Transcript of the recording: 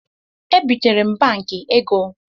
E bịtere m Banki ego